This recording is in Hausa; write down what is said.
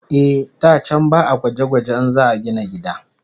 Eh, da can ba'a gwaje-gwaje in za'a gina gida